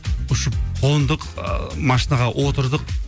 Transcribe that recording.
ұшып қондық ыыы машинаға отырдық